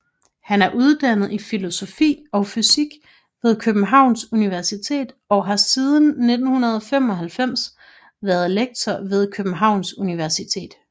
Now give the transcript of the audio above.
Han er uddannet i filosofi og fysik ved Københavns Universitet og har siden 1995 været lektor ved Københavns Universitet